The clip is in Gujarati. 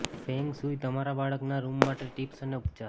ફેંગ શુઇ તમારા બાળકના રૂમ માટે ટિપ્સ અને ઉપચાર